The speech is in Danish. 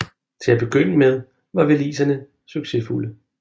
Til at begynde med var waliserne succesfulde